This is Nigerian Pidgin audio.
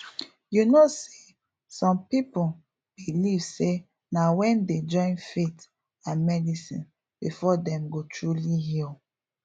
you know say some people believe say na wen dem join faith and medicine before dem go truly heal